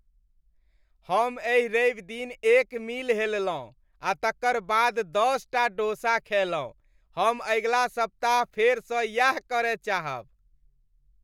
हम एहि रविदिन एक मील हेललहुँ आ तकर बाद दशटा डोसा खयलहुँ। हम अगिला सप्ताह फेरसँ यैह करय चाहब।